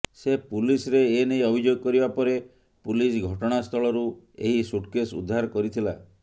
ସେ ପୁଲିସ୍ରେ ଏନେଇ ଅଭିଯୋଗ କରିବା ପରେ ପୁଲିସ୍ ଘଟଣାସ୍ଥଳରୁ ଏହି ସୁଟକେଶ୍ ଉଦ୍ଧାର କରିଥିଲା